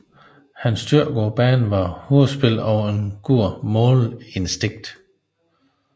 Hans styrker på banen var hovedspillet og et godt målinstinkt